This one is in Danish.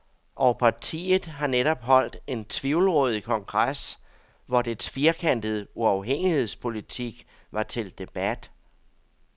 Og partiet har netop holdt en tvivlrådig kongres, hvor dets firkantede uafhængighedspolitik var til debat.